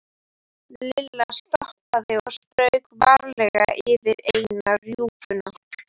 Lilla stoppaði og strauk varlega yfir eina rjúpuna.